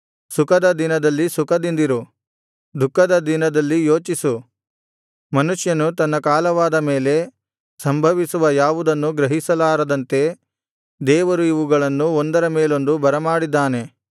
ಸುಖದ ದಿನದಲ್ಲಿ ಸುಖದಿಂದಿರು ದುಃಖದ ದಿನದಲ್ಲಿ ಯೋಚಿಸು ಮನುಷ್ಯನು ತನ್ನ ಕಾಲವಾದ ಮೇಲೆ ಸಂಭವಿಸುವ ಯಾವುದನ್ನೂ ಗ್ರಹಿಸಲಾರದಂತೆ ದೇವರು ಇವುಗಳನ್ನು ಒಂದರ ಮೇಲೊಂದು ಬರಮಾಡಿದ್ದಾನೆ